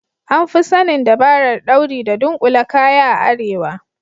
An Fi sanin dabarar dauri da dunkule kaya a arewa.